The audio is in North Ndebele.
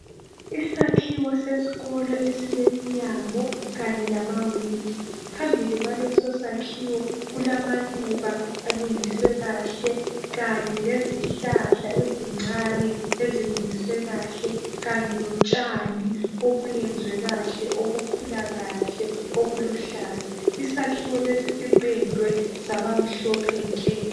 Isakhiwo sesikolo esileminyango kanye lamawindi, phambili kwalesosakhiwo kulamaluba alungiswe kahle kanye lezihlahla ezincane ezilungiswe kahle kanye lotshani obuyenzwe kahle obukhula kahle obuluhlaza . Isakhiwo lesi sipendwe sabamhlophe nke.